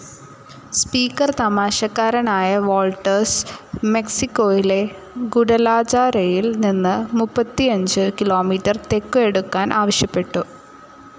Speaker തമാശക്കാരനായ Walters, മെക്സിക്കോയിലെ ഗുഡലാജാരയിൽ നിന്ന് മുപ്പത്തിയഞ്ചു കിലോമീറ്റർ തെക്കു എടുക്കാൻ ആവശ്യപ്പെട്ടു.